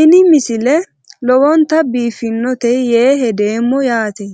ini misile lowonta biifffinnote yee hedeemmo yaate